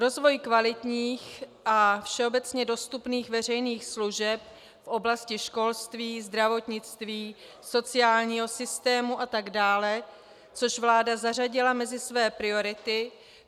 Rozvoj kvalitních a všeobecně dostupných veřejných služeb v oblasti školství, zdravotnictví, sociálního systému atd., což vláda zařadila mezi své priority.